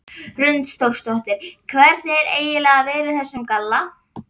Hrund Þórsdóttir: Hvernig er eiginlega að vera í þessum galla?